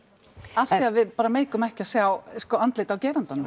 af því að við bara meikum ekki að sjá sko andlit á gerandanum